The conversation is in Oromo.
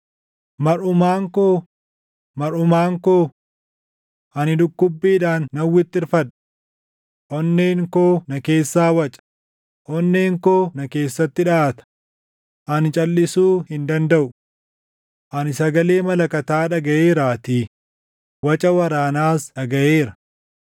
Marʼumaan ko, marʼumaan ko! Ani dhukkubbiidhaan nan wixxirfadha. Onneen koo na keessaa waca; onneen koo na keessatti dhaʼata; ani calʼisuu hin dandaʼu. Ani sagalee malakataa dhagaʼeeraatii; waca waraanaas dhagaʼeera.